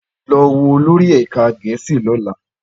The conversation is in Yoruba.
Lọ wo olórí ẹ̀ka Gẹ̀ẹ́sì lọ́la